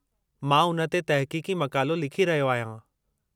मां उन ते तहक़ीक़ी मक़ालो लिखी रहियो आहियां।